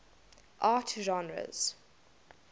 art genres